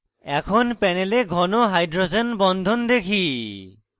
এখন panel ঘন hydrogen বন্ধন দেখি